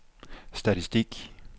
statistik